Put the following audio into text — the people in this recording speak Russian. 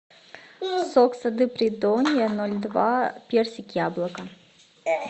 сок сады придонья ноль два персик яблоко